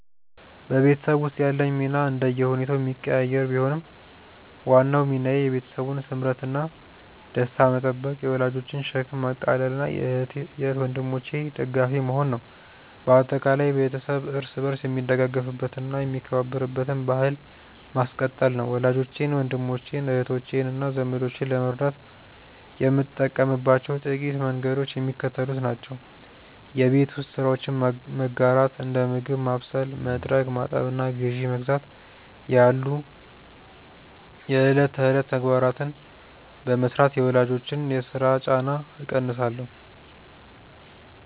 በቤተሰብ ውስጥ ያለኝ ሚና እንደየሁኔታው የሚቀያየር ቢሆንም፣ ዋናው ሚናዬ የቤተሰቡን ስምረትና ደስታ መጠበቅ፣ የወላጆችን ሸክም ማቃለልና የእህት ወንድሞቼ ደጋፊ መሆን ነው። በአጠቃላይ፣ ቤተሰብ እርስ በርስ የሚደጋገፍበትና የሚከባበርበትን ባሕል ማስቀጠል ነው። ወላጆቼን፣ ወንድሞቼን፣ እህቶቼንና ዘመዶቼን ለመርዳት የምጠቀምባቸው ጥቂት መንገዶች የሚከተሉት ናቸው የቤት ውስጥ ስራዎችን መጋራት፦ እንደ ምግብ ማብሰል፣ መጥረግ፣ ማጠብና ግዢ መግዛት ያሉ የዕለት ተዕለት ተግባራትን በመሥራት የወላጆችን የሥራ ጫና እቀንሳለሁ